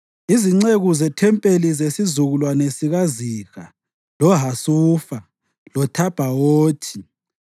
Izinceku zethempelini: zesizukulwane sikaZiha, loHasufa, loThabhawothi,